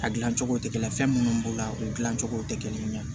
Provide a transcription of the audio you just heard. A gilan cogo tɛ kelen ye fɛn minnu b'o la o dilancogo tɛ kelen ye